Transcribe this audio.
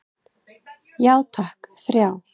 Já takk, þrjá.